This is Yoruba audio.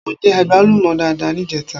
Mo jẹ àgbálùmọ́ dáadáa níjẹta.